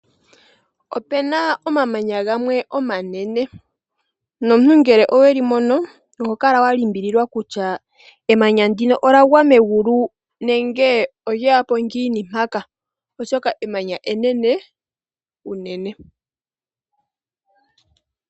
Opena omamanya gamwe omanene nomuntu ngele oweli mono oho kala wa limbililwa kutya emanya ndino olya gwa megulu nenge olye yapo ngiini mpaka oshoka emanya enene unene.